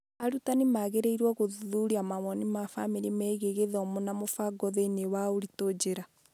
Arutani magĩrĩirũo kwĩrutanĩria gũthuthuria mawoni ma famĩlĩ megiĩ gĩthomo na mũbango thĩinĩ wa ũritũ njĩra.